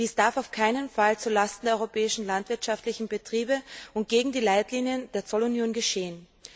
Dies darf auf keinen Fall zulasten der europäischen landwirtschaftlichen Betriebe und gegen die Leitlinien der Zollunion geschehen.